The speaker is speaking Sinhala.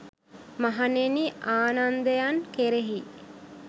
මහණෙනි ආනන්දයන් කෙරෙහි